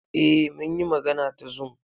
Eh, mun yi magana ta zoom.